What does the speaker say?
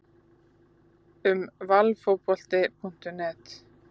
Um Valfotbolti.net